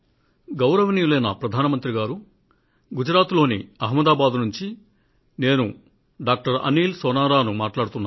గౌరవనీయులైన ప్రధాన మంత్రి గారు గుజరాత్ లోని అహమదాబాద్ నుండి నేను డాక్టర్ అనీల్ సోనారాను మాట్లాడుతున్నాను